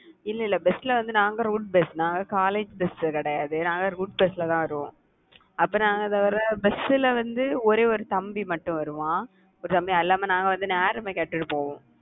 இல்ல இல்ல bus ல வந்து நாங்க route bus நாங்க college bus கிடையாது. நாங்க route bus ல தான் வருவோம். அப்பறம் நாங்க வர bus ல வந்து, ஒரே ஒரு தம்பி மட்டும் வருவான். ஒரு தம்பி எல்லாமே நாங்க வந்து போவோம்